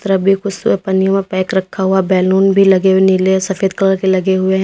उस तरफ भी कुछ पन्नी मे पैक रखा हुआ। बैलून भी लगे हुए नीले सफेद कलर के लगे हुए हैं।